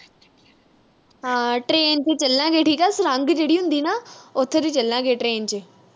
ਹਾਂ train ਚ ਚੱਲਾਂਗੇ, ਸੁਰੰਗ ਜਿਹੜੀ ਹੁੰਦੀ ਹਨਾ, ਉਥੋਂ ਦੀ ਚੱਲਾਂਗੇ train ਚ